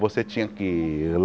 Você tinha que?